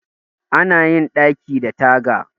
Ana yin ɗaki da taga